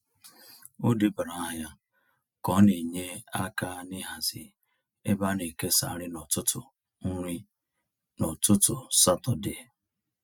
O debara aha ya ka ọ na-enye aka n'hazi ebe a na-ekesa nri n’ụtụtụ nri n’ụtụtụ Satọde.